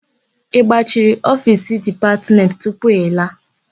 Ị gbachiri ofiisi Dipatmentị tupu ị laa?